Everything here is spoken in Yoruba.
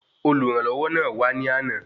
Olùrànlọwọ náà wà ní àna